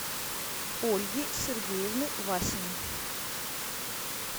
ольги сергеевны васиной